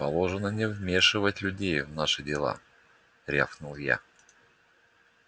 положено не вмешивать людей в наши дела рявкнул я